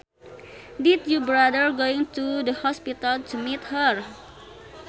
Did you bother going to the hospital to meet her